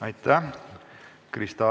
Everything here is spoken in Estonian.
Aitäh!